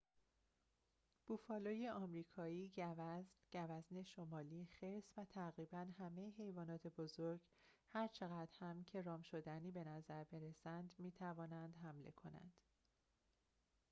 بوفالوی آمریکایی گوزن گوزن شمالی خرس و تقریباً همه حیوانات بزرگ هرچقدر هم که رام‌شدنی بنظر برسند می‌توانند حمله کنند